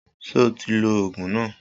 Sọ ti lo Ògùn na?